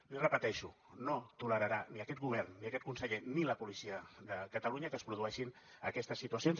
l’hi repeteixo no tolerarà ni aquest govern ni aquest conseller ni la policia de catalunya que es produeixin aquestes situacions